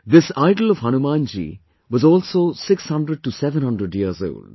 This idol of Hanuman ji was also 600700 years old